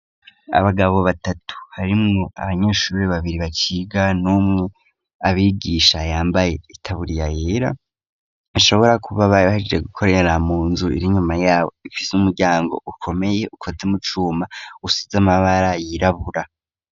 Abagabo batatu harimwo abanyeshuri babiri baciga n'umwe abigisha yambaye itaburiya yera. Bashobora kuba bari baheje gukorera mu nzu ir'inyuma y'abo, ifise umuryango ukomeye ukoze mu cuma usize amabara yirabura.